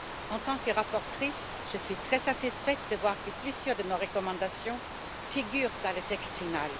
En tant que rapporteure, je suis très satisfaite de voir que plusieurs de nos recommandations figurent dans le texte final.